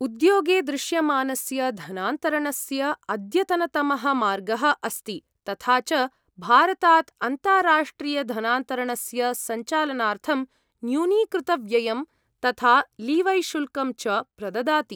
उद्योगे दृश्यमानस्य धनान्तरणस्य अद्यतनतमः मार्गः अस्ति, तथा च भारतात् अन्ताराष्ट्रियधनान्तरणस्य सञ्चालनार्थं न्यूनीकृतव्ययं, तथा लीवैशुल्कं च प्रददाति।